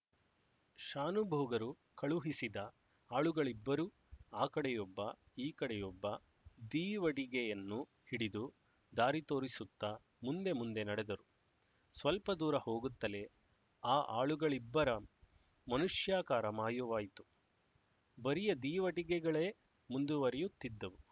ಶಾನುಭೋಗರು ಕಳುಹಿಸಿದ ಆಳುಗಳಿಬ್ಬರೂ ಆ ಕಡೆಯೊಬ್ಬ ಈ ಕಡೆಯೊಬ್ಬ ದೀವಟಿಗೆಯನ್ನು ಹಿಡಿದು ದಾರಿ ತೋರಿಸುತ್ತ ಮುಂದೆ ಮುಂದೆ ನಡೆದರು ಸ್ವಲ್ಪ ದೂರ ಹೋಗುತ್ತಲೇ ಆ ಆಳುಗಳಿಬ್ಬರ ಮನುಷ್ಯಕಾರ ಮಾಯವಾಯಿತು ಬರಿಯ ದೀವಟಿಗೆಗಳೇ ಮುಂದುವರಿಯುತ್ತಿದ್ದುವು